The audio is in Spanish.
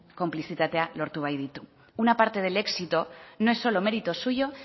konplizitatea lortu baititu una parte del éxito no es solo mérito suyo